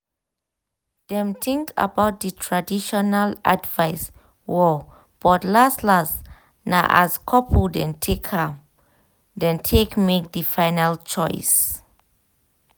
dem think about di traditional advice well but las-las na as couple dem take make di final choice.